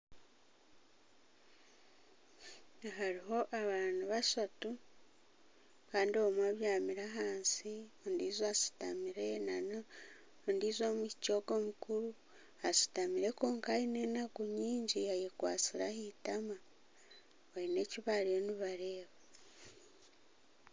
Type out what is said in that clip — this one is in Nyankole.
Hariho abaana bashatu omwe abyamire ahansi ondiijo ashutamire ondiijo omwishiki omukuru ashutamire kwonka aine enaku nyingi ayekwatsire ahitama bariyo baine eki bariyo nibareeba